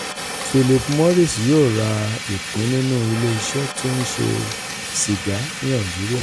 philip morris yóò ra ìpín nínú ilé-iṣẹ́ tó ń ṣe sìgá ní algeria